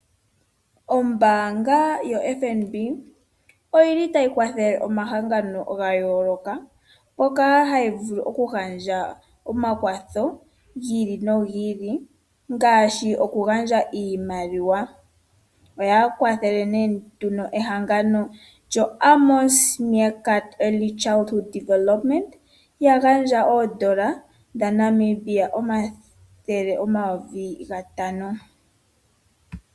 Ombaanga yoFNB otayi kwathele omahangano ga yooloka mpoka hayi vulu okugandja omakwatho gi ili nogi ili ngaashi okugandja iimaliwa. Oya kwathele nduno ehangano lyo Amos Meerkat Early Childhood Development, ya gandja N$ 500 0000.00.